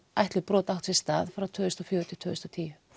ætluð brot áttu sér stað frá tvö þúsund og fjögur til tvö þúsund og tíu